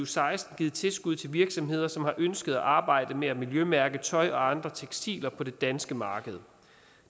seksten givet tilskud til virksomheder som har ønsket at arbejde med at miljømærke tøj og andre tekstiler på det danske marked